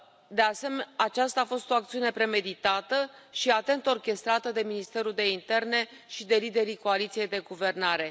De asemenea, aceasta a fost o acțiune premeditată și atent orchestrată de Ministerul de Interne și de liderii coaliției de guvernare.